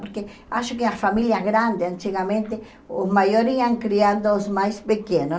Porque acho que a família grande, antigamente, os maiores iam criando os mais pequenos.